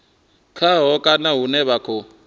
khaho kana hune vha khou